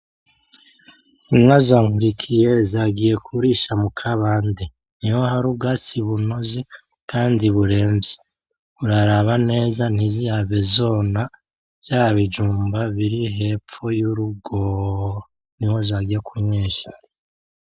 Inka za NKURIKIYE zagiye kurisha mukabande, niho hari ubwatsi bunoze kandi buremvye, uraraba neza ntizihave zona vya bijumba biri hepfo y’urugo niho zagiye kunywesha.